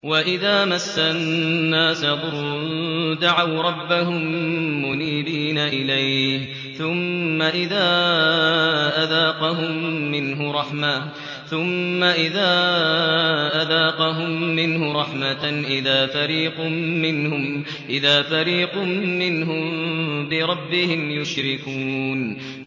وَإِذَا مَسَّ النَّاسَ ضُرٌّ دَعَوْا رَبَّهُم مُّنِيبِينَ إِلَيْهِ ثُمَّ إِذَا أَذَاقَهُم مِّنْهُ رَحْمَةً إِذَا فَرِيقٌ مِّنْهُم بِرَبِّهِمْ يُشْرِكُونَ